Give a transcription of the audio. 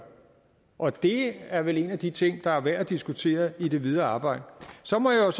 og det er vel en af de ting der er værd at diskutere i det videre arbejde så må jeg